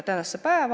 Tänan, hea esimees!